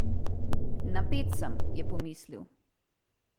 Napet sem, je pomislil.